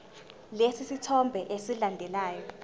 lesi sithombe esilandelayo